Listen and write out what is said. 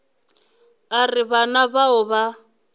a re bana bao ba